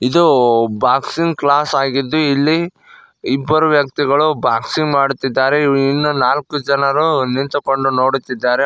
ಇದು boxing class ಆಗಿದ್ದು ಇಲ್ಲಿ ಇಬ್ಬರು ವ್ಯಕ್ತಿಗಳು ಬಾಕ್ಸಿಂಗ್ ಮಾಡುತ್ತಿದ್ದಾರೆ ಇನ್ನೂ ನಾಲ್ಕು ಜನರು ನಿಂತುಕೊಂಡು ನೋಡುತ್ತಿದ್ದಾರೆ.